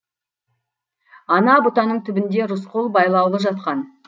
ана бұтаның түбінде рысқұл байлаулы жатқан